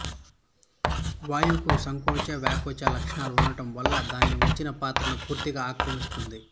వాయువుకు సంకోచ వ్యాకోచ లక్షణాలు ఉండటం వల్ల దాన్ని ఉంచిన పాత్రను పూర్తిగా ఆక్రమిస్తుంది